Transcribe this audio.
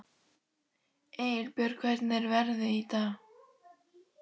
Engilbjört, hvernig er veðrið í dag?